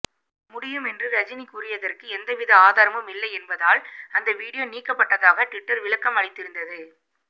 முடியும் என்று ரஜினி கூறியதற்கு எந்தவித ஆதாரமும் இல்லை என்பதால் அந்த வீடியோ நீக்கப்பட்டதாக டுவிட்டர் விளக்கம் அளித்திருந்தது